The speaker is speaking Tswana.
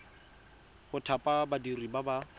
go thapa badiri ba ba